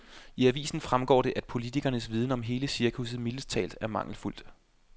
I avisen fremgår det, at politikernes viden om hele cirkuset mildest talt er mangelfuldt.